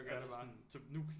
Så gør jeg det bare